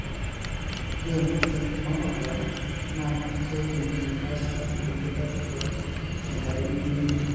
ore entoki Mammagram na kidim aitasa inkuti batisho tenkerai nemeino,